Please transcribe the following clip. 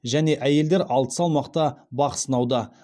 және әйелдер алты салмақта бақ сынауда